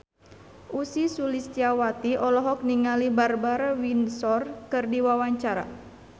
Ussy Sulistyawati olohok ningali Barbara Windsor keur diwawancara